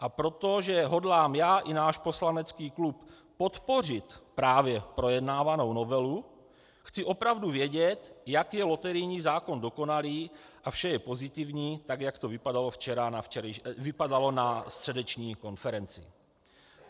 A protože hodlám já i náš poslanecký klub podpořit právě projednávanou novelu, chci opravdu vědět, jak je loterijní zákon dokonalý a vše je pozitivní, tak, jak to vypadalo na středeční konferenci.